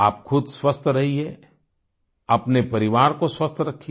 आप खुद स्वस्थ रहिए अपने परिवार को स्वस्थ रखिए